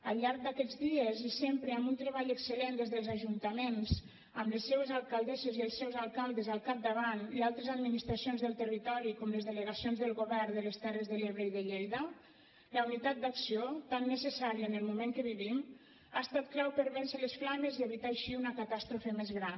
al llarg d’aquests dies i sempre amb un treball excel·lent des dels ajuntaments amb les seues alcaldesses i els seus alcaldes al capdavant i altres administracions del territori com les delegacions del govern de les terres de l’ebre i de lleida la unitat d’acció tan necessària en el moment en què vivim ha estat clau per vèncer les flames i evitar així una catàstrofe més gran